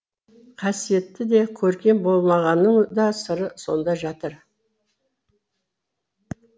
қасиетті де көркем болмағының да сыры сонда жатыр